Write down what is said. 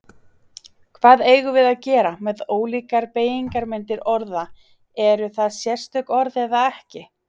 Hvað eigum við að gera með ólíkar beygingarmyndir orða, eru það sérstök orð eða ekki?